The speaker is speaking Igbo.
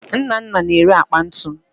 Nnanna na-ere akpa ntu